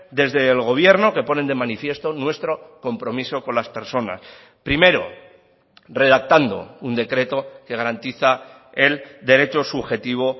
desde el gobierno que ponen de manifiesto nuestro compromiso con las personas primero redactando un decreto que garantiza el derecho subjetivo